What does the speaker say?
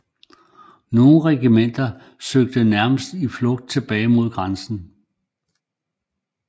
Nogle regimenter søgte nærmest i flugt tilbage mod grænsen